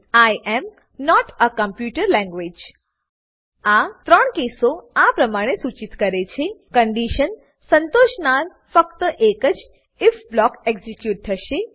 I am not a computer language આ 3 કેસો આ પ્રમાણે સૂચિત કરે છે કંડીશન સંતોષનાર ફક્ત એક જ આઇએફ બ્લોક એક્ઝીક્યુટ થશે